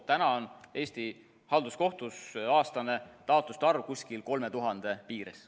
Täna on Eesti halduskohtus aastane taotluste arv kuskil 3000 piires.